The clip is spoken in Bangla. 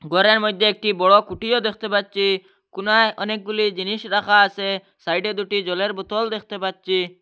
গরের মইদ্যে একটি বড় কুটিও দ্যাখতে পাচ্চি কুনায় অনেকগুলি জিনিস রাখা আসে সাইডে দুটি জলের বোতল দেখতে পাচ্চি।